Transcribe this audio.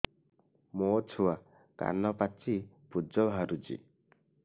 ମୋ ଛୁଆ କାନ ପାଚି ପୂଜ ବାହାରୁଚି